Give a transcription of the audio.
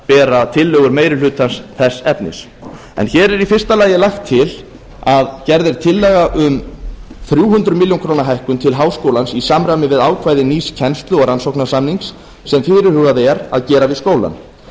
bera tillögur meiri hlutans þess efnis hér er í fyrsta lagi gerð tillaga um þrjú hundruð ár hækkun til háskólans í samræmi við ákvæði nýs kennslu og rannsóknarsamnings sem fyrirhugað er að gera við skólann